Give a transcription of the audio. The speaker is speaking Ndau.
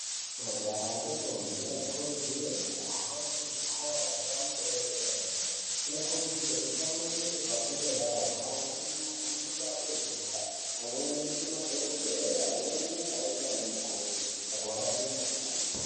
Majaha ngendombi vanokurudzirwe kuhambe kuzvikoro zvepamusoro yedera dera. Vanokurudzirwe kutsamwirire pafundo yawo, amweni agone mabasa enyara, amweni aite madhokodheya, amweni aite anamukoti mukurape mikuhlani.